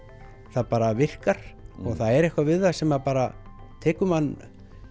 það bara virkar og það er eitthvað við það sem bara tekur mann